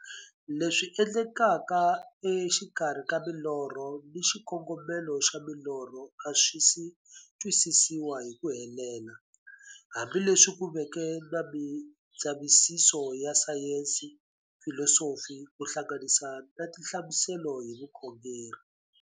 Leswi endlekaka exikarhi ka milorho na xikongomelo xa milorho a swisi twisisiwa hi ku helela, hambi leswi ku veke na mindzavisiso ya sayensi, filosofi ku hlanganisa na tinhlamuselo hi vukhongori.